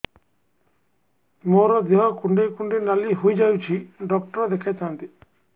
ମୋର ଦେହ କୁଣ୍ଡେଇ କୁଣ୍ଡେଇ ନାଲି ହୋଇଯାଉଛି ଡକ୍ଟର ଦେଖାଇ ଥାଆନ୍ତି